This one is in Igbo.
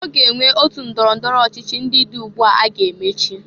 Ọ ge enwe otu ndọrọ ndọrọ ọchịchị ndị dị ugbu a ga-emechi.